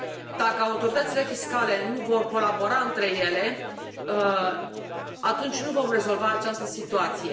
Dacă autoritățile fiscale nu vor colabora între ele, atunci nu vom rezolva această situație.